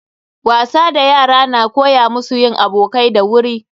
Wasa da yara na koya musu yin abokai da wuri.